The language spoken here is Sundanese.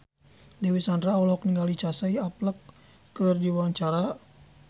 Dewi Sandra olohok ningali Casey Affleck keur diwawancara